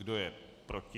Kdo je proti?